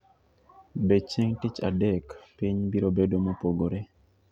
Be chieng ' Tich Adek piny biro bedo mopogore?